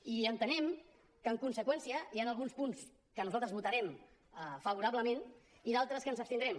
i entenem que en conseqüència hi han alguns punts que nosaltres votarem favorablement i altres que ens abstindrem